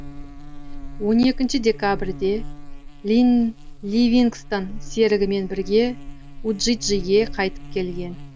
он екінші декабрьде ливингстон серігімен бірге уджиджиге қайтып келген